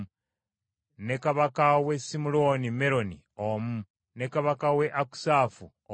ne kabaka w’e Simuloni Meroni omu, ne kabaka w’e Akusafu omu,